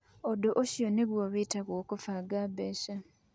Ũndũ ũcio ningĩ wĩtagwo kũbanga mbeca.